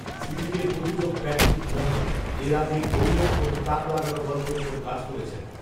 সিরিজের প্রযোজক Patrick Graham এর আগে ‘ঘউল’ এর মতো তাক লাগানো গল্পের ওপর কাজ করেছেন